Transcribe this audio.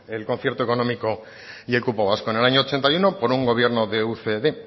el concierto económico y el cupo vasco en el año ochenta y uno por un gobierno de ucd